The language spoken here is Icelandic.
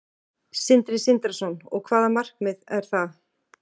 Sindri Sindrason: Og hvaða markmið er það?